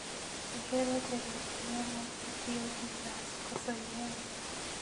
Ihero tedo chiemo kitiyogi gas koso yien?